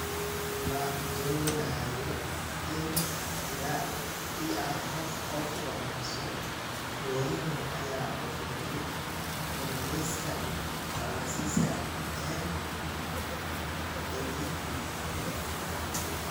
"Ma doonayo in la ii arko qof wanaagsan"Mourinho ayaa u sheegay wargeyska Faransiiska ee L'Equipe.